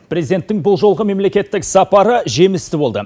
президенттің бұл жолғы мемлекеттік сапары жемісті болды